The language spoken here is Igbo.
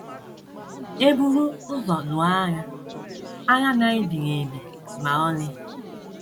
EBURU ụzọ lụọ agha, agha na - ebighị ebi ma ọlị.